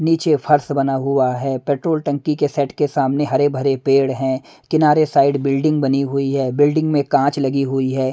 नीचे फर्श बना हुआ है पेट्रोल टंकी के सेट के सामने हरे भरे पेड़ हैं किनारे साइड बिल्डिंग बनी हुई है बिल्डिंग में कांच लगी हुई है।